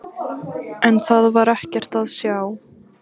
En það var ekkert að sjá.